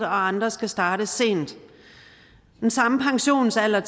andre skal starte sent den samme pensionsalder